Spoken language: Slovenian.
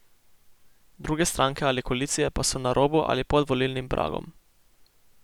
Druge stranke ali koalicije pa so na robu ali pod volilnim pragom.